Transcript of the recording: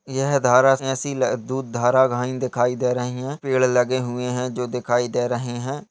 यह धारा जैसी दूध धारा घाइ दिखाई दे रही है पेड़ लगे हुए है जो दिखाई दे रहे है।